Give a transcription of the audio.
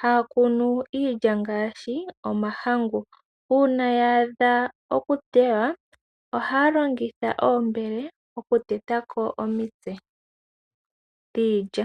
haya kunu iilya ngaashi omahangu. Uuna ya adha oku tewa, ohaya longitha oombele oku tetako omitse dhiidja.